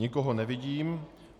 Nikoho nevidím.